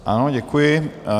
Ano, děkuji.